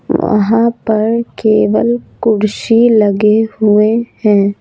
वहाँ पर केवल कुर्सी लगे हुए है।